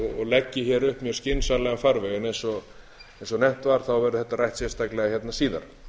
leggi hér upp mjög skynsamlegan farveg eins og nefnt var verður þetta rætt sérstaklega hérna síðar